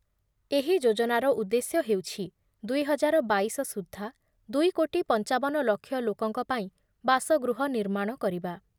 ଏହି ଯୋଜନାର ଉଦ୍ଦେଶ୍ୟ ହେଉଛି ଦୁଇ ହଜାର ବାଇଶ ସୁଦ୍ଧା ଦୁଇ କୋଟି ପଂଚାବନ ଲକ୍ଷ ଲୋକଙ୍କ ପାଇଁ ବାସଗୃହ ନିର୍ମାଣ କରିବା ।